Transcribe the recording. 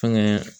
Fɛnkɛ